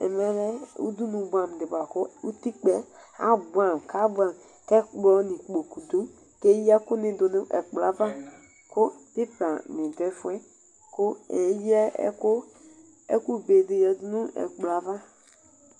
Ɛmɛlɛ abʋɛamʋ di bʋakʋ ʋtikʋpa yɛ abʋɛamʋ kʋ ɛkplɔ nʋ ikpokʋ dʋ kʋ eya ɛkʋ ni dʋnʋ ɛkplɔ yɛ ava kʋ pepa ni dʋ ɛfʋɛ kʋ eya ɛkʋ bedi yadʋnʋ ɛkplɔ yɛ ava